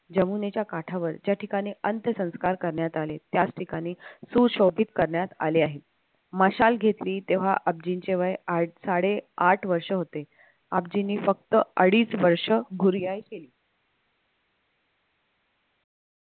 यमुनेच्या काठावर या ठिकाणी ज्या ठिकाणी अंत्यसंस्कार करण्यात आले त्याचठिकाणी सुशोभित करण्यात आले आहे मशाल घेतली तेव्हा आबजींचे वय आठ साडे आठ वर्ष होते आबजींनी फक्त अडीच वर्ष केली